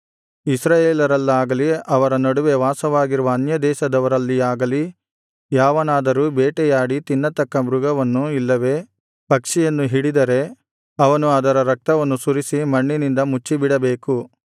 ಇಸ್ರಾಯೇಲರಲ್ಲಾಗಲಿ ಅವರ ನಡುವೆ ವಾಸವಾಗಿರುವ ಅನ್ಯದೇಶದವರಲ್ಲಿಯಾಗಲಿ ಯಾವನಾದರೂ ಬೇಟೆಯಾಡಿ ತಿನ್ನತಕ್ಕ ಮೃಗವನ್ನು ಇಲ್ಲವೆ ಪಕ್ಷಿಯನ್ನು ಹಿಡಿದರೆ ಅವನು ಅದರ ರಕ್ತವನ್ನು ಸುರಿಸಿ ಮಣ್ಣಿನಿಂದ ಮುಚ್ಚಿಬಿಡಬೇಕು